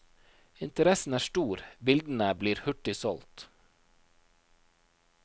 Interessen er stor, bildene blir hurtig solgt.